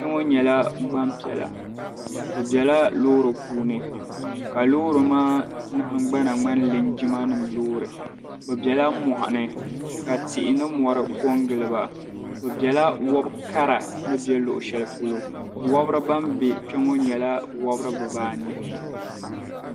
Kpɛ ŋo nyɛla gbanpiɛla bi bɛla loori puuni ka loori maa nahagbana ŋmani linjima nim loori bi bɛla moɣini ka tihi ni mori ko n giliba bi bɛla wobo kara ni bɛ luɣushɛli polo wabiri ban bɛ kpɛ ŋo nyɛla wobiri bibaanahi